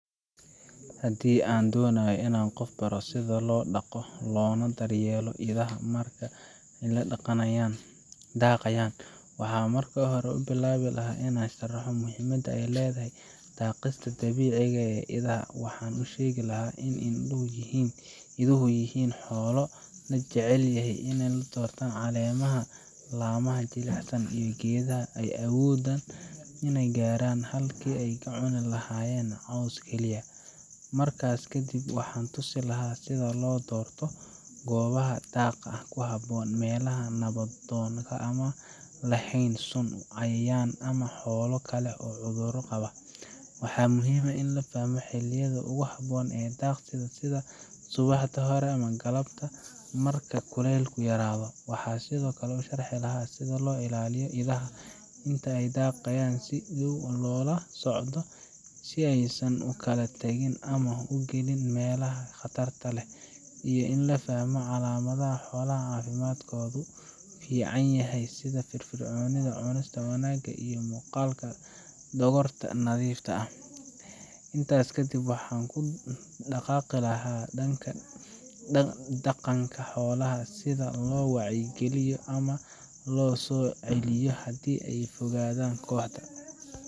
Haddii aan doonayo inaan qof baro sida loo dhaqdo loona daryeelo idaha marka ay daaqayaan waxaan marka hore bilaabi lahaa inaan sharaxo muhiimadda ay leedahay daaqista dabiiciga ah ee idaha. Waxaan u sheegi lahaa in iduhu yihiin xoolo aad u jecel inay doortaan caleemaha, laamaha jilicsan, iyo geedaha ay awoodaan inay gaaraan, halkii ay ka cuni lahaayeen caws keliya. Markaas ka dib, waxaan tusin lahaa sida loo doorto goobaha daaqa ku habboon meelaha nabdoon, aan lahayn sun, cayayaan ama xoolo kale oo cudurro qaba. Waxaa muhiim ah in la fahmo xilliyada ugu habboon ee daaqista sida subaxda hore ama galabta marka kuleylku yaraado. Waxaan sidoo kale sharxi lahaa sida loo ilaaliyo idaha inta ay daaqayaan: in si dhow loola socdo si aysan u kala tagin ama u gelin meelaha khatarta leh, iyo in la fahmo calaamadaha xoolaha caafimaadkoodu fiican yahay sida firfircoonida, cunista wanaagsan, iyo muuqaalka dhogorta oo nadiif ah. Intaas kadib, waxaan ku dhaqaaqi lahaa dhanka dhaqanka xoolaha, sida loo wacyi geliyo ama loo soo celiyo haddii ay ka fogaadaan kooxda,